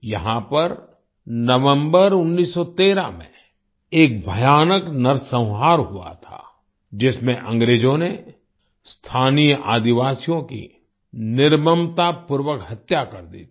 यहाँ पर नवम्बर 1913 में एक भयानक नरसंहार हुआ था जिसमें अंग्रेजों ने स्थानीय आदिवासियों की निर्ममतापूर्वक हत्या कर दी थी